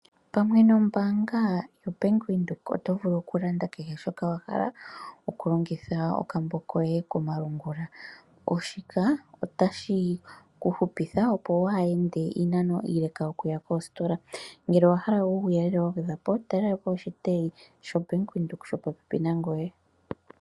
Pamwe nombaanga yoBank Windhoek oto vulu oku landa kehe shoka wahala okulongitha okambo koye komalungula shika otashi kuhupitha opo waa yende iinanano iileka okuya koostola, ngele owaha la uuyelele wagwedhwapo talelapo oshitayi shoBank Windhoek shili popepi nangoye.